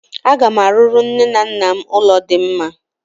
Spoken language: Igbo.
Aga m arụrụ nne na nna m ụlọ dị mma.